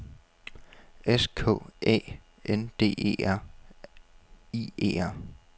S K Æ N D E R I E R